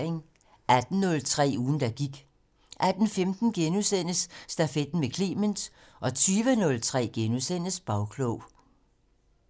18:03: Ugen der gik 18:15: Stafetten med Clement * 20:03: Bagklog *